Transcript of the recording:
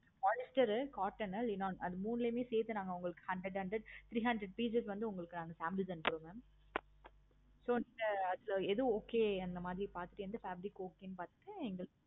polyster, cotton, அது மூனலையும் நா உங்களுக்கு சேர்த்து hundred hundred உங்களுக்கான samples அனுப்புறோம் mam okay mam so இந்த எது okay பார்த்துட்டு fabric okay பார்த்து